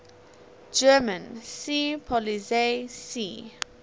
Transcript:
german seepolizei sea